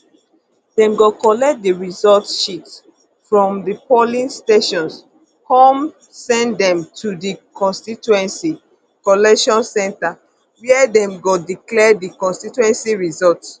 dem go collect di results sheets from di polling stations come come send dem to di constituency collation centre wia dem go declare di constituency results